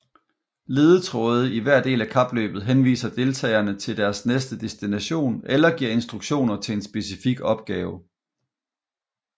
Ledetråde i hver del af kapløbet henviser deltagerne til deres næste destination eller giver instruktioner til en specifik opgave